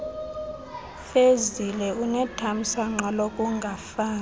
fezile unethamsanqa lokungafani